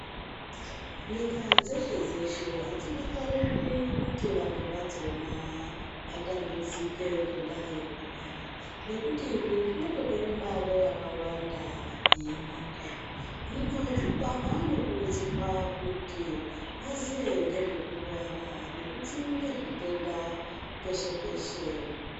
Nyika dzeshe-dzeshe hadzidakariri kuti vantu vadzona vatambudzike ngendaa yekurwara. Nekuti izvi zvinototore mari yakawanda yenyika. Hino antu anokurudzirwa kuti vaziye ngezvekurwara ngekudzirire zvitenda peshe-peshe.